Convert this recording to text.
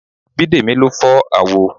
Bidemi ló fọ́ àwo